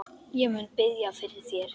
Ég mun biðja fyrir þér.